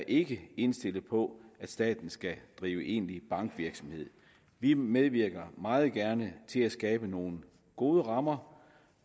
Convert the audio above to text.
ikke er indstillet på at staten skal drive egentlig bankvirksomhed vi medvirker meget gerne til at skabe nogle gode rammer